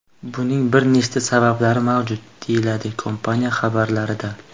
Buning bir nechta sabablari mavjud”, deyiladi kompaniya xabarida.